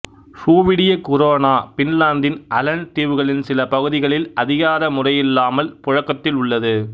சுவீடிய krona பின்லாந்தின் Aland தீவுகளின் சில பகுதிகளில் அதிகார முறையிலல்லாமல் புழக்கத்தில் உள்ளது